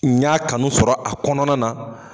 N y'a kanu sɔrɔ a kɔnɔna na.